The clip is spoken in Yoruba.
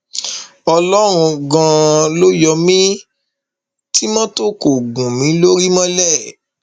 ọlọrun ganan ló yọ mí tí mọtò kò gún mi lórí mọlẹ